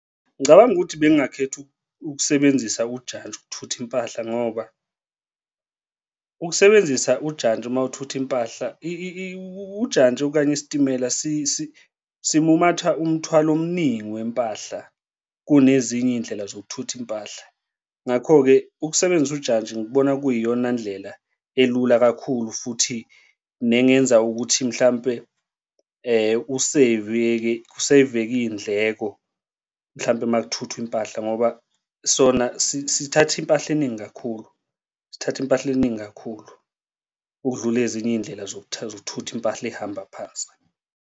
Ngicabanga ukuthi bengingakhetha ukusebenzisa ujantshi ukuthutha impahla ngoba ukusebenzisa ujantshi uma ukuthutha impahla ujantshi okanye isitimela simumatha umthwalo omningi wempahla kunezinye iy'ndlela zokuthutha impahla. Ngakho-ke ukusebenzisa ujantshi ngikubona kuyiyona ndlela elula kakhulu futhi nengenza ukuthi mhlampe useyiveke, kuseyiveke iy'ndleko mhlampe uma kuthuthwa impahla ngoba sona sithatha impahla eningi kakhulu, sithatha impahla eningi kakhulu ukudlula ezinye iy'ndlela zokuthutha impahla ihamba phansi.